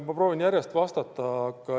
Ma proovin järjest vastata.